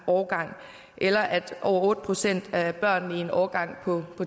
årgang eller at over otte procent af børnene i en årgang på